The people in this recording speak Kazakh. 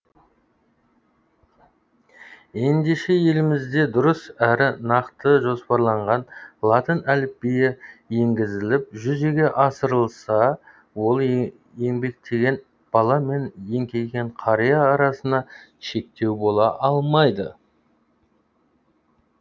ендеше елімізде дұрыс әрі нақты жоспарланған латын әліпбиі енгізіліп жүзеге асырылса ол еңбектеген бала мен еңкейген қария арасына шектеу бола алмайды